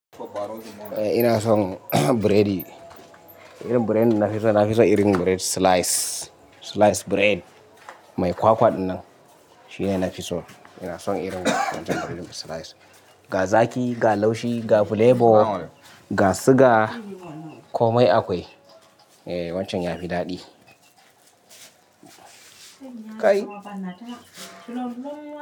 Eh ina son biredi. Irin biredi ina fi so, ina fi so irin bired slice, slice bread. Mai kwakwa dinnan, shine na fi so. Ina son irin wancan biredin slice. Ga zaki, ga laushi, ga flavor, ga siga, komai akwai. Eh wancan yafi daɗi. Kai!